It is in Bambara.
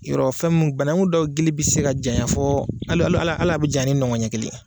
Yɔrɔ fɛn mun banankun dɔw gili bɛ se ka janɲa fɔ alo ala bɛ janɲa ni ɲɔgɔn ɲɛ kelen ye.